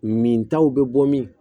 Min taw bɛ bɔ min